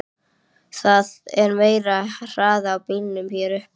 Það er meiri hraði á bílunum hér uppi.